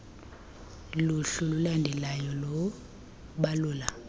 luhlu lulandelalyo lubalula